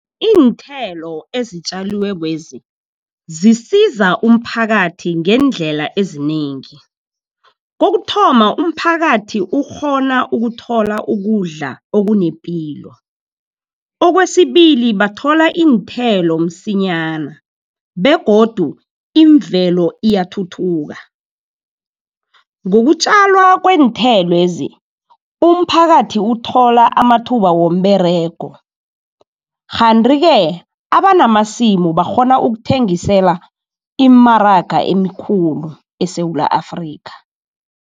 Iinthelo ezitjaliwekwezi, zisiza umphakathi ngeendlela ezinengi. Kokuthoma, umphakathi ukghona ukuthola ukudla okunepilo. Okwesibili, bathola iinthelo msinyana begodu imvelo iyathuthuka. Ngokutjalwa kweenthelwezi umphakathi uthola amathuba womberego. Kanti-ke abanamasimu bakghona ukuthengisela iimaraga ezikulu eSewula Afrikha.